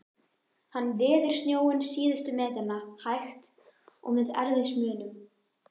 Hann veður snjóinn síðustu metrana, hægt, og með erfiðismunum.